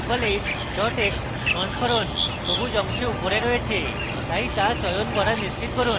drupal 8 dot x সংস্করণ সবুজ অংশে উপরে রয়েছে তাই তা চয়ন করা নিশ্চিত করুন